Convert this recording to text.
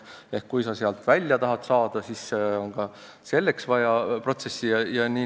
Kui sa sealt välja tahad saada, siis on ka selleks vaja teatud protsessi.